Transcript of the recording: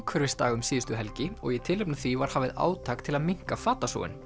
umhverfisdag um síðustu helgi og í tilefni af því var hafið átak til að minnka